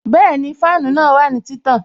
Bẹẹni, fáànù náà wà ní títàn